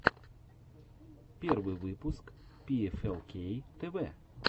первый выпуск пиэфэлкей тэвэ